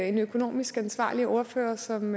en økonomisk ansvarlig ordfører som